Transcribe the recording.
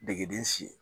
Degeden si